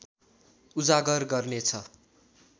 उजागर गर्नेछ